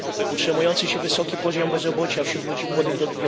Utrzymujący się wysoki poziom bezrobocia wśród ludzi młodych do